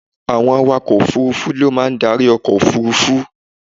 Àwọn awakọ òfurufú ni ó máa ń darí ọkọ̀ òfurufú.